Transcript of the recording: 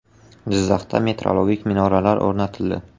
Jizzaxda metrologik minoralar o‘rnatildi .